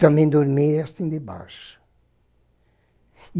Também dormi assim, debaixo.